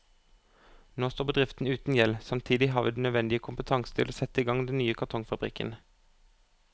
Nå står bedriften uten gjeld, samtidig har vi den nødvendige kompetanse til å sette i gang den nye kartonfabrikken.